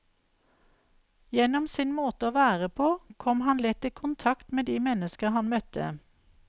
Gjennom sin måte å være på kom han lett i kontakt med de mennesker han møtte.